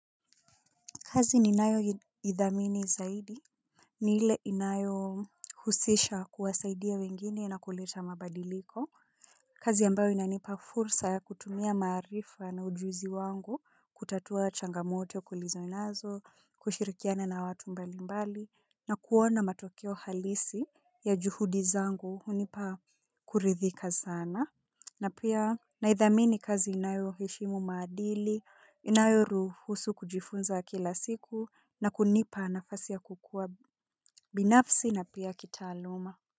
Kazi ninayoithamini zaidi, nile inayohusisha kuwasaidia wengine na kuleta mabadiliko. Kazi ambayo inanipa fursa ya kutumia maarifa na ujuzi wangu kutatua changamoto kulizonazo, kushirikiana na watu mbalimbali na kuona matokeo halisi ya juhudi zangu hunipa kuridhika sana. Na pia naidhamini kazi inayo heshimu maadili, inayoruhusu kujifunza kila siku na kunipa nafasi ya kukua binafsi na pia kitaaluma.